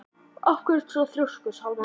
Af hverju ertu svona þrjóskur, Salmann?